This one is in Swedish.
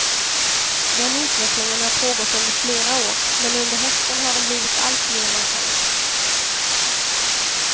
Den utvecklingen har pågått under flera år, men under hösten har den blivit alltmer markant.